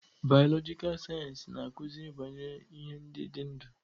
Bịyọlojịka sayensị na-akụzi banyere ihe ndị dị ndụ.